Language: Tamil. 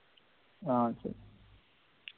ஆஹ் சரி